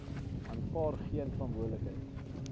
aanvaar geen verantwoordelikheid